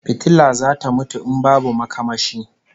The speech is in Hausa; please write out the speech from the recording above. Fitila zata mutu in babu makamashi